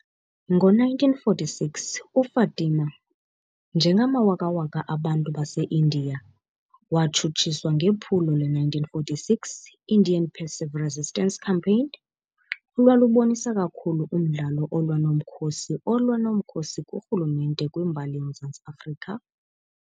Ngo-1946 uFatima, njengamawakawaka abantu baseIndiya, watshutshiswa ngephulo le-1946 Indian Passive Resistance Campaign, olwalubonisa kakhulu umdlalo olwa nomkhosi olwa nomkhosi kurhulumente kwimbali yoMzantsi Afrika.